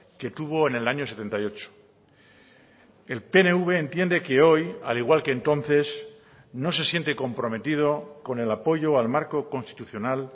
que tuvo en el año setenta y ocho el pnv entiende que hoy al igual que entonces no se siente comprometido con el apoyo al marco constitucional